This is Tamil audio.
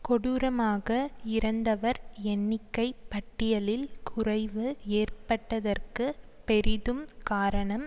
கொடூரமாக இறந்தவர் எண்ணிக்கை பட்டியலில் குறைவு ஏற்பட்டதற்கு பெரிதும் காரணம்